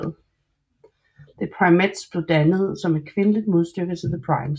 The Primettes blev dannet som et kvindeligt modstykke til The Primes